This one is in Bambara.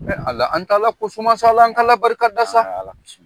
Ala an t'Ala ko suma sa Ala , an k'Ala barika da sa